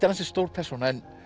er ansi stór persóna en